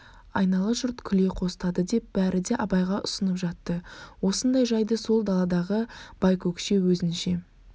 айнала жұрт күле қостады деп бәрі де абайға ұсынып жатты осындай жайды сол даладағы байкөкше өзінше